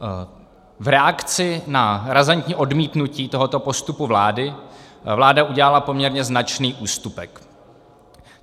V reakci na razantní odmítnutí tohoto postupu vlády vláda udělala poměrně značný ústupek.